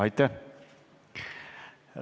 Aitäh!